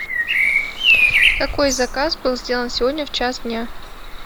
какой заказ был сделан сегодня в час дня